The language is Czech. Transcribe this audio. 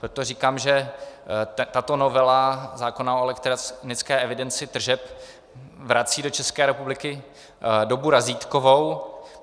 Proto říkám, že tato novela zákona o elektronické evidenci tržeb vrací do České republiky dobu razítkovou.